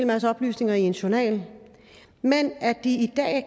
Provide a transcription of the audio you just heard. masse oplysninger i ens journal men at de i dag